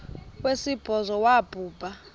wesibhozo wabhu bha